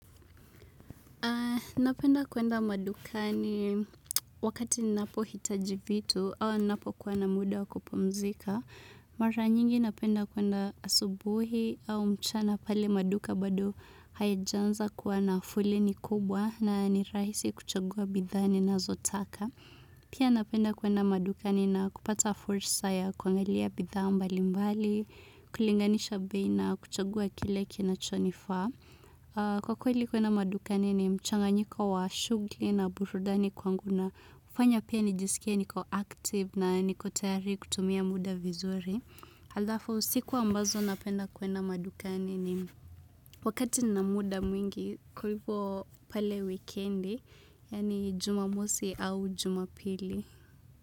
Napenda kuenda madukani wakati ninapo hitaji vitu au ninapo kuwa na muda wa kupumzika. Mara nyingi napenda kwenda asubuhi au mchana pale maduka bado hayaja anza kuwa na foleni kubwa na ni rahisi kuchagua bidhaa nina zotaka. Pia napenda kwenda madukani na kupata fursa ya kuangalia bidha mbali mbali, kulinganisha bei na, kuchagua kile kinacho nifaa. Kwa kweli kuenda madukani ni mchanganyiko wa shughli na burudani kwangu na. Hufanya pia nijisikie niko active na niko tayari kutumia muda vizuri. Alafu siku ambazo napenda kuenda madukani ni wakati nina muda mwingi kwa hivyo pale wikendi yaani jumamosi au jumapili.